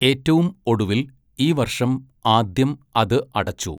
ഏറ്റവും ഒടുവിൽ, ഈ വർഷം ആദ്യം അത് അടച്ചു.